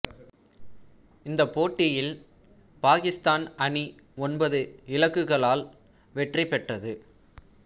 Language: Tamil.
இந்தப் போட்டியில் பாக்கித்தான் அணி ஒன்பது இலக்குகளால் வெற்றி பெற்றது